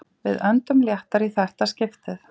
Við öndum léttar í þetta skiptið